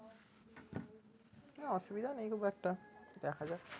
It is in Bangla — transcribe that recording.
অসুবিধা নেই খুব একটা দেখা যাক